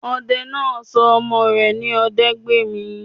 Odẹ náà sọ ọmọ rẹ̀ ní Odẹgbèmí